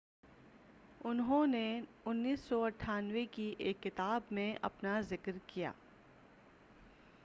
انھوں نے 1998ء کی ایک کتاب میں اپنا ذکر کیا